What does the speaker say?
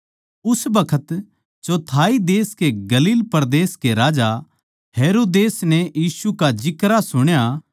उस बखत चौथाई देश के गलील परदेस का राजा हेरोदेस नै यीशु का जिक्रा सुण्या